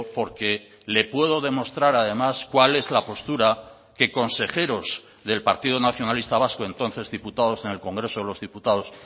porque le puedo demostrar además cuál es la postura que consejeros del partido nacionalista vasco entonces diputados en el congreso de los diputados